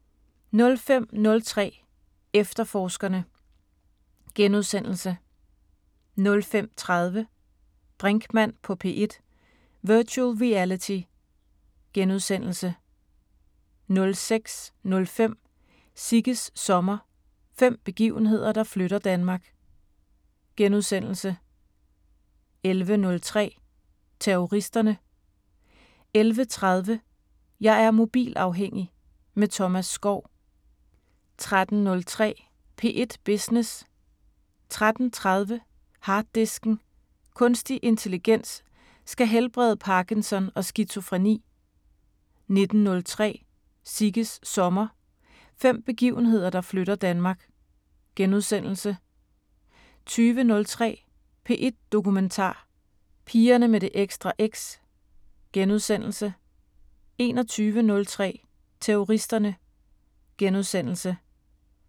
05:03: Efterforskerne * 05:30: Brinkmann på P1: Virtual Reality * 06:05: Sigges sommer – fem begivenheder, der flytter Danmark * 11:03: Terroristerne 11:30: Jeg er mobilafhængig – med Thomas Skov 13:03: P1 Business 13:30: Harddisken: Kunstig intelligens skal helbrede Parkinson og skizofreni 19:03: Sigges sommer – fem begivenheder, der flytter Danmark * 20:03: P1 Dokumentar: Pigerne med det ekstra X * 21:03: Terroristerne *